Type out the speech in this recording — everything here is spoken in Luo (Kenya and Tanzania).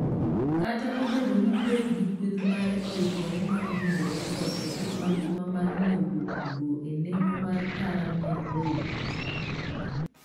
kata obedo ni Pep gi kueth mare oikore mar vunjo rekod e piny mangima mar nyiewo jotugo e nengo mar tara mia ariyo